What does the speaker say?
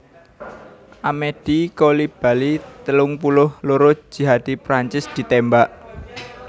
Amedy Coulibaly telung puluh loro jihadi Prancis ditémbak